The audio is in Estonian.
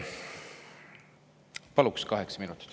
Palun kaheksa minutit.